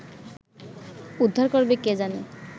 উদ্ধার করবে কে জানে